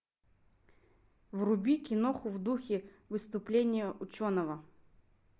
вруби киноху в духе выступления ученого